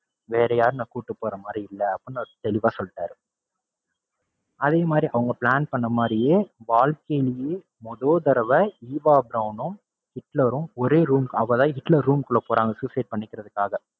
வேற யாரையும் நான் கூட்டிப் போறமாதிரி இல்ல அப்படின்னு அவரு தெளிவா சொல்லிட்டாரு. அதேமாதிரி அவங்க plan பண்ண மாதிரியே வாழ்க்கையிலையே மொத தடவ ஈவா பிரௌனும், ஹிட்லரும் ஒரே room ஹிட்லர் room குள்ள போறாங்க suicide பண்ணிக்கிறதுக்காக.